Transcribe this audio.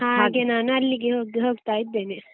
ಹಾಗೆ ನಾನು ಅಲ್ಲಿಗೆ ಹೋಗ್~ ಹೋಗ್ತಾ ಇದ್ದೇನೆ.